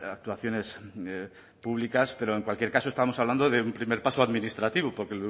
actuaciones públicas pero en cualquier caso estamos hablando de un primer paso administrativo porque